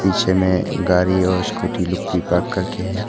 पीछे में गाड़ी और स्कूटी लुक भी पार्क कर के है।